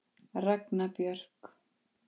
Ragna Björk.